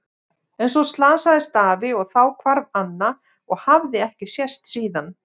En svo slasaðist afi og þá hvarf Anna og hafði ekki sést síðan.